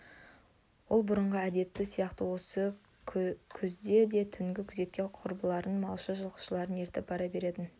ол бұрынғы әдеттері сияқты осы күзде де түнгі күзетке құрбыларын малшы жылқышыларын ертіп бара беретін